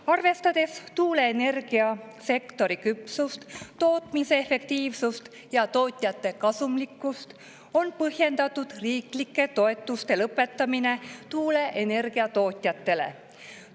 Arvestades tuuleenergiasektori küpsust, tootmise efektiivsust ja tootjate kasumlikkust, on põhjendatud riiklike toetuste lõpetamine tuuleenergia tootjatele.